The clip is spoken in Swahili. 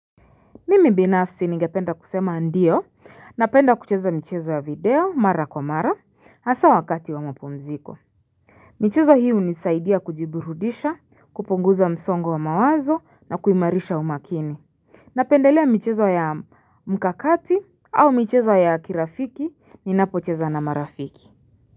Mimi binafsi ningependa kusema ndio napenda kucheza michezo ya video mara kwa mara hasa wakati wa mapumziko. Michezo hii hunisaidia kujiburudisha, kupunguza msongo wa mawazo na kuimarisha umakini. Napendelea michezo ya mkakati au michezo ya kirafiki ninapocheza na marafiki.